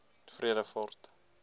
vredefort